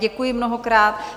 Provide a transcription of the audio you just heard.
Děkuji mnohokrát.